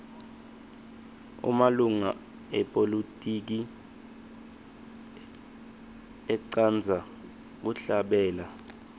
emalunga epolitiki atsqndza kuhlabela